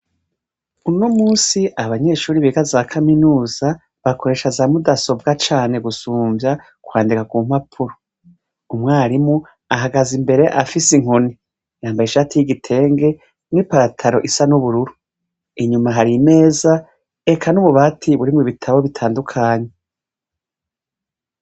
Uno munsi abanyeshure biga za Kaminuza bakoresha za mudasobwa cane gusumvya kwandika ku mpapuro. Umwarimu ahagaze imbere afise inkoni. Yambaye ishati y'igitenge n'ipataro isa n'ubururu. Inyuma hari imeza eka n'ububati burimwo ibitabo bitandukanye.